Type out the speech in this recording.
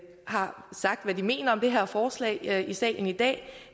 har sagt hvad de mener om det her forslag i salen i dag